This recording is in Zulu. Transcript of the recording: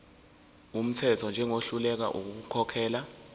wumthetho njengohluleka ukukhokhela